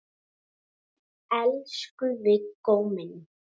Elsku Viggó minn.